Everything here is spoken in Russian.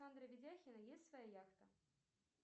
у андрея видяхина есть своя яхта